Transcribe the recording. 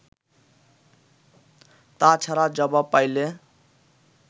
তা ছাড়া জবাব পাইলে